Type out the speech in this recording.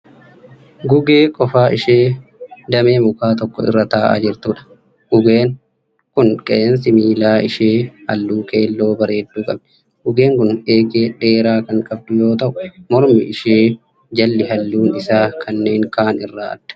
Gugee qofaa ishee damee mukaa tokko irra ta'aa jirtudha. Gugeen kun qeensi miila ishee halluu keelloo bareedduu qabdi. Gugeen kun eegee dheeraa kan qabdu yoo ta'u mormi ishee jalli halluun isaa kanneen ka'aan irraa adda.